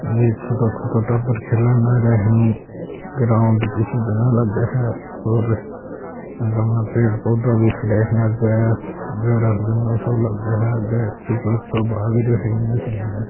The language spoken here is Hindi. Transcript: ये छोटा छोटा टाबर खेलन लाग रहिया है ग्राउंड किसज अलग है और आंके माय पेड़ पौधा भी खड़्या है आगे घर जंगल सो लागे है आगे एक बच्चो भाग रहियो है इने से इने।